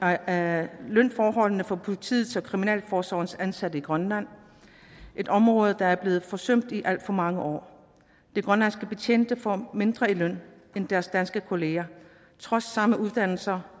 af lønforholdene for politiets og kriminalforsorgens ansatte i grønland et område der er blevet forsømt i alt for mange år de grønlandske betjente får mindre i løn end deres danske kollegaer trods samme uddannelse